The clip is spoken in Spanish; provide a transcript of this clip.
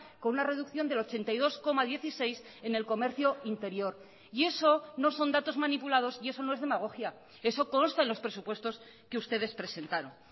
con una reducción del ochenta y dos coma dieciséis en el comercio interior y eso no son datos manipulados y eso no es demagogia eso consta en los presupuestos que ustedes presentaron